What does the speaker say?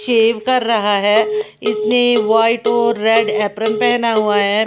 शेव कर रहा है इसने वाइट और रेड एप्रेन पहना हुआ है।